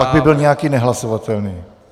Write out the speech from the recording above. Pak by byl nějaký nehlasovatelný.